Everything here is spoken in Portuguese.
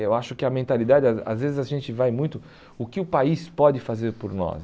Eu acho que a mentalidade... Às às vezes a gente vai muito... O que o país pode fazer por nós?